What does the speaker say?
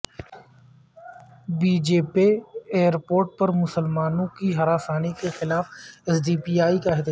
بجپے airport پر مسلمانوں کی ہراسانی کے خلاف ایس ڈی پی ائی کا احتجاج